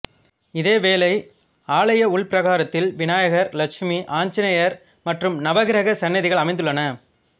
இதேவேளை ஆலய உள்பிரகாரத்தில் விநாயகர் லட்சுமி ஆஞ்சநேயர் மற்றும் நவக்கிரக சன்னதிகள் அமைந்துள்ளன